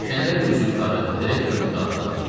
Pilləkənlərlə üzü yuxarı direktorun otağına qalxdım.